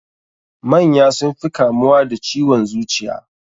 Manya sun fi kamuwa da ciwon zuciya.